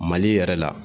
Mali yɛrɛ la